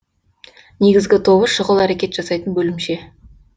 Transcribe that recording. негізгі тобы шұғыл әрекет жасайтын бөлімше